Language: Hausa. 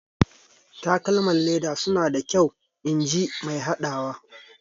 Takalman leda suna da kyau inji mai hadawa.